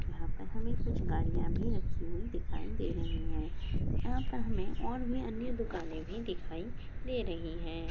यहाँ पर हमें कुछ गाड़ियाँ भी रखी हुई दिखाई दे रहीं हैं यहाँ पर हमें और भी अन्य दुकानें भी दिखाई दे रहीं हैं।